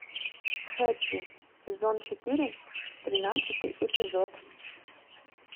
хэппи сезон четыре тринадцатый эпизод